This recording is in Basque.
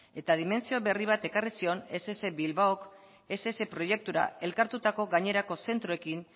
eta dimentsio berri bat ekarri zion ess bilbaok ess proiektura elkartutako gainerako zentroekin